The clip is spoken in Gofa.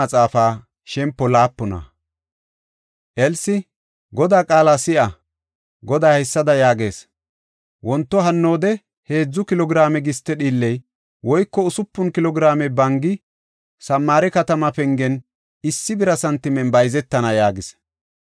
Elsi, “Godaa qaala si7a! Goday haysada yaagees. Wonto hannoode heedzu kilo giraame giste dhiilley woyko usupun kilo giraame bangi Samaare katama pengen issi bira santimen bayzetana” yaagis.